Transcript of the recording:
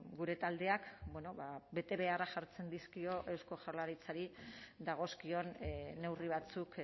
gure taldeak betebeharrak jartzen dizkio eusko jaurlaritzari dagozkion neurri batzuk